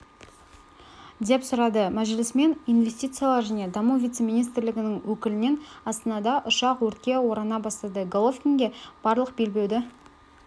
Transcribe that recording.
деп сұрады мәжілісмен инвестициялар және даму вице-министрлігінің өкілінен астанада ұшақ өртке орана бастады головкинге барлық белбеуді